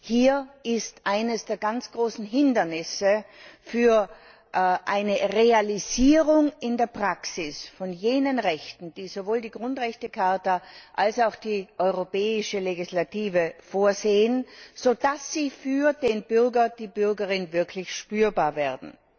Hier ist eines der ganz großen Hindernisse für eine Realisierung in der Praxis von jenen Rechten, die sowohl die Grundrechtecharta als auch die europäische Legislative vorsehen, sodass sie für den Bürger und die Bürgerin wirklich spürbar werden.